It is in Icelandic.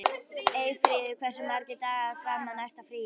Eyfríður, hversu margir dagar fram að næsta fríi?